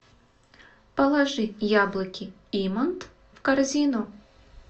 положи яблоки имант в корзину